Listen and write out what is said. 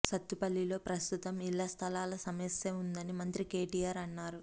సత్తుపల్లిలో ప్రస్తుతం ఇళ్ల స్థలాల సమస్య ఉందని మంత్రి కేటీఆర్ అన్నారు